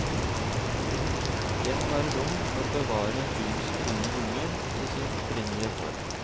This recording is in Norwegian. Det må være rom for å bevare byens grønne lunger i sin opprinnelige form.